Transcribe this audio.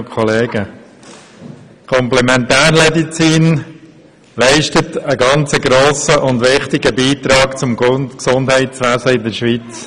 Die Komplementärmedizin leistet einen sehr grossen und wichtigen Beitrag zum Gesundheitswesen in der Schweiz.